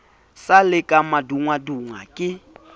sa le ka madungwadungwa ke